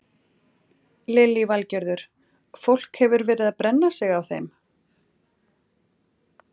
Lillý Valgerður: Fólk hefur verið að brenna sig á þeim?